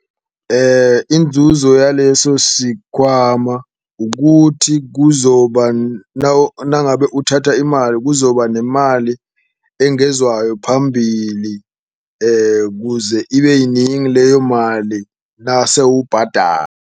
Inzuzo yaleso sikhwama ukuthi kuzoba nangabe uthatha imali kuzoba nemali engezwayo phambili, kuze ibe yiningi leyo mali nase .